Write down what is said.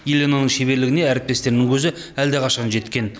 еленаның шеберлігіне әріптестерінің көзі әлдеқашан жеткен